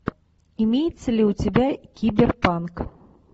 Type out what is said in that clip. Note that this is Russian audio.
имеется ли у тебя киберпанк